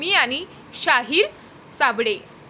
मी आणि शाहीर साबळे'